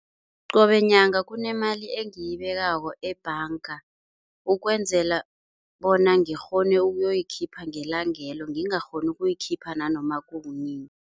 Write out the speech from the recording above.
Qobe nyanga kunemali engiyibekako ebhanga ukwenzela bona ngikghone ukuyoyikhipha ngelangelo ngingakghoni ukuyikhipha nanoma kunini.